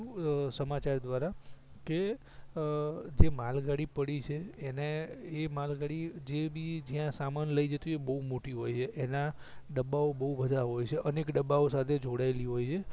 સમાચાર દ્રારા કે અ માલગાડી પડી છે એને એ માલગાડી એબી જ્યાં સામાન લઇ જતી હોય બહુ મોટી હોય છે એના ડબ્બાઓબહુ બધા હોય છે અનેક ડબ્બા સાથે જોડાયલી હોય છે